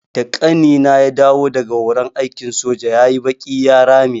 Da ƙanina ya dawo daga horon aikin soja yayi baƙi ya rame.